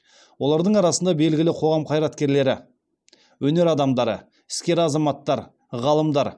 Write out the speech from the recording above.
олардың арасындағы белгілі қоғам қайраткерлері өнер адамдары іскер азаматтар ғалымдар